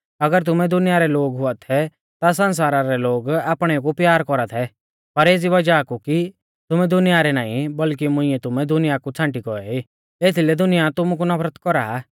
अगर तुमै दुनिया रै लोग रै हुआ थै ता सण्सारा रै लोग आपणेऊ कु प्यार कौरा थै पर एज़ी वज़ाह कु कि तुमै दुनिया रै नाईं बल्कि मुंइऐ तुमै दुनिया कु छ़ांटी गौऐ ई एथीलै दुनिया तुमु कु नफरत कौरा